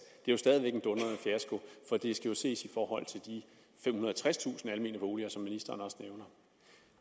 og det er skal ses i forhold til de femhundrede og tredstusind almene boliger som ministeren også nævner